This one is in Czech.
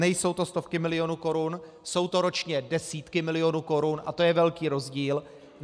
Nejsou to stovky milionů korun, jsou to ročně desítky milionů korun a to je velký rozdíl.